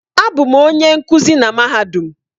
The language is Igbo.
Abụ m onye nkuzi na mahadum.